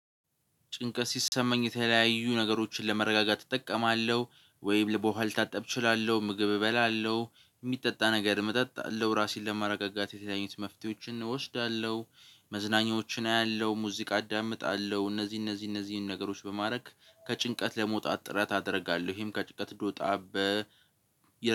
ጭንቀት ሲሰማኝ የተለያዩ ነገሮችን ለመረጋጋት እጠቀማለሁ ወይም ልብ ውሃ ልታጠብ እችላለሁ ምግብ እበላለሁ የሚጠጣ ነገር መጠጥ አለው ራሴን ለማረጋጋት የተለያዩ መፍትሄዎችን እወስዳለሁ። መዝናኛዎችን አያለሁ ሙዚቃ አዳምጣለሁ እነዚህ እነዚህ እነዚህን ነገሮች በማድረግ ከጭንቀት ለመውጣት ጥረት አደርጋለሁ ይሄም ከጭቀት እንድወጣ በ።